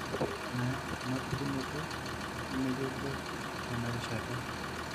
Ore enayau enapukunoto nemeyioloi tenarishata.